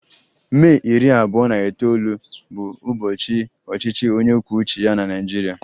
Mee iri abuo na itoolu bụbu ụbọchị ọchịchị onye kwuo uche ya na Naịjirịa